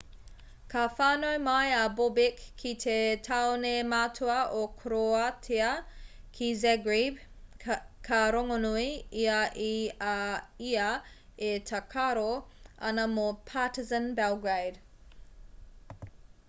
ka whānau mai a bobek ki te tāone matua o koroātia ki zagreb ka rongonui ia i a ia e tākaro ana mō partizan belgrade